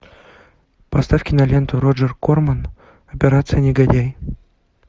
поставь киноленту роджер корман операция негодяй